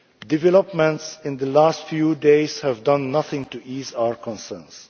Developments in the last few days have done nothing to ease our concerns.